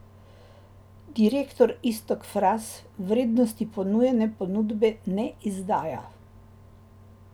Direktor Iztok Fras vrednosti ponujene ponudbe ne izdaja.